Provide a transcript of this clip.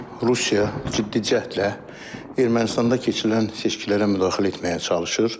Rusiya ciddi cəhdlə Ermənistanda keçirilən seçkilərə müdaxilə etməyə çalışır.